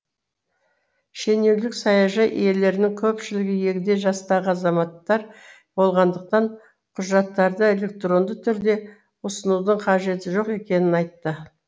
шенеунік саяжай иелерінің көпшілігі егде жастағы азаматтар болғандықтан құжаттарды электронды түрде ұсынудың қажеті жоқ екенін айтты